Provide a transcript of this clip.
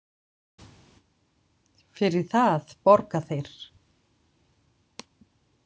Fyrir það borga þeir.